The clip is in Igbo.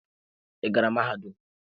Ị gara mahadum?